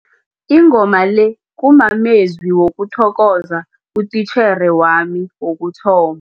Ingoma le kumamezwi wokuthokoza utitjhere wami wokuthoma.